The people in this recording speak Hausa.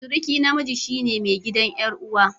Suruki namiji shine mai gidan yar'uwa.